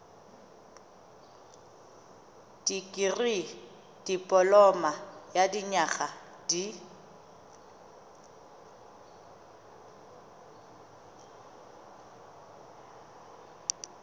dikirii dipoloma ya dinyaga di